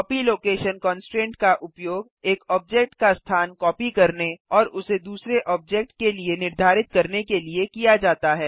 copy location constraint का उपयोग एक ऑब्जेक्ट का स्थान कॉपी करने और उसे दूसरे ऑब्जेक्ट के लिए निर्धारित करने के लिए किया जाता है